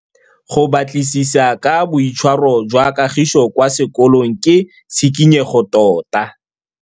Go batlisisa ka boitshwaro jwa Kagiso kwa sekolong ke tshikinyêgô tota.